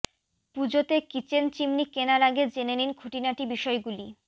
পুজোতে kitchen chimney কেনার আগে জেনে নিন খুঁটিনাটি বিষয় গুলি